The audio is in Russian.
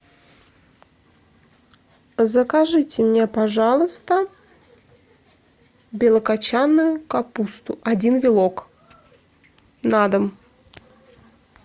закажите мне пожалуйста белокочанную капусту один вилок на дом